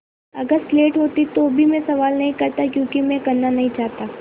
अगर स्लेट होती तो भी मैं सवाल नहीं करता क्योंकि मैं करना नहीं चाहता